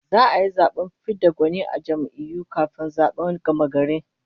Za'a yi zaben fid da gwani na jam'iyyu kafin zaben gamagari